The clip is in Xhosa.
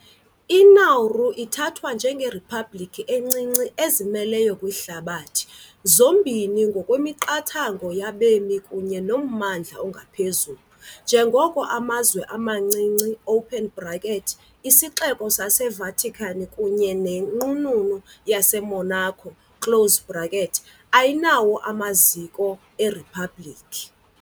I-Nauru ithathwa njengeriphabliki encinci ezimeleyo kwihlabathi, zombini ngokwemiqathango yabemi kunye nommandla ongaphezulu, njengoko amazwe amancinci, iSixeko saseVatican kunye neNqununu yaseMonaco, ayinawo amaziko eriphabliki.